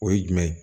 O ye jumɛn ye